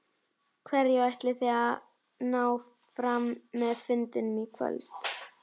Hverju ætlið þið að ná fram með fundinum í kvöld?